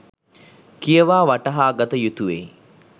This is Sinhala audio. කියවා වටහාගත යුතුවෙයි.